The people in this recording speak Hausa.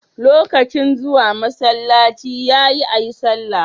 Lokacin zuwa masalaci yayi ayi sallah